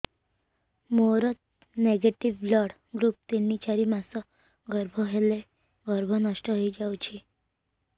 ମୋର negative blood group ତିନ ଚାରି ମାସ ଗର୍ଭ ହେଲେ ଗର୍ଭ ନଷ୍ଟ ହେଇଯାଉଛି